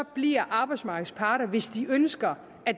bliver arbejdsmarkedets parter hvis de ønsker at